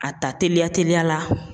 A ta teliya teliya la.